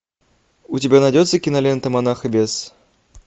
у тебя найдется кинолента монах и бес